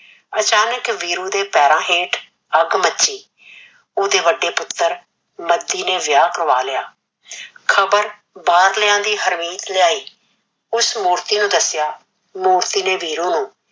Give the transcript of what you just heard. ਆਚਾਨਕ ਵੀਰੂ ਦੇ ਪੈਰ ਹੇਠ ਅੱਗ ਮੱਚੀ ਉਹਦੇ ਵੱਡੇ ਪੁੱਤਰ ਮੱਦੀ ਨੇ ਵਿਆਹ ਕਰਵਾ ਲਿਆ ਖਬਰ ਬਾਰਲਿਆ ਦੀ ਹਰਮੀਤ ਲਿਆਈ ਉਸ ਮੂਰਤੀ ਨੂੰ ਦੱਸਿਆ ਮੂਰਤੀ ਨੇ ਵੀਰੂ ਨੂੰ